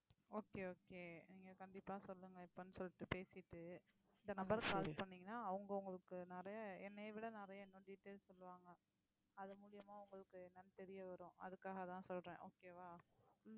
okay okay நீங்க கண்டிப்பா சொல்லுங்க எப்பன்னு சொல்லிட்டு பேசிட்டு இந்த number க்கு call பண்ணீங்கன்னா அவங்க உங்களுக்கு நிறைய என்னைய விட நிறைய இன்னும் details சொல்லுவாங்க. அது மூலியமா உங்களுக்கு என்னன்னு தெரிய வரும் அதுக்காகதான் சொல்றேன் okay வா